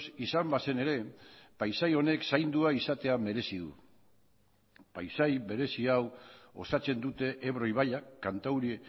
izan bazen ere paisai honek zaindua izatea merezi du paisai berezi hau osatzen dute ebro ibaiak kantauri